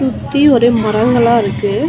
சுத்தி ஒரே மரங்களா இருக்கு.